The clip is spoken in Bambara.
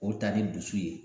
O ta ni dusu ye